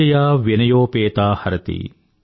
విద్యయా వినయోపేతా హరతి